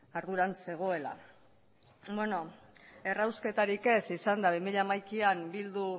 arduran zegoela errausketarik ez izan da bi mila hamaikan bilduk